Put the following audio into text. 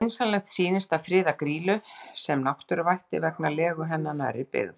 Skynsamlegt sýnist að friða Grýlu sem náttúruvætti vegna legu hennar nærri byggð.